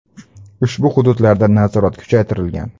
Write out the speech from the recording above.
Ushbu hududlarda nazorat kuchaytirilgan.